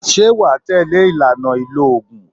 Ṣé wà á tẹ̀lé ìlànà ìlò oògùn?